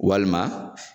Walima